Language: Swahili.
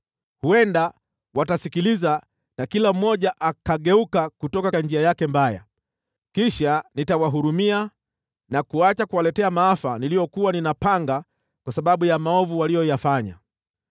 Huenda watasikiliza, na kila mmoja akageuka kutoka njia yake mbaya. Kisha nitawahurumia na kuacha kuwaletea maafa niliyokuwa ninapanga kwa sababu ya maovu waliyofanya.